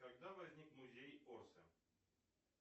когда возник музей орсе